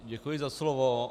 Děkuji za slovo.